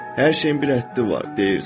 Hər şeyin bir həddi var, deyirsən.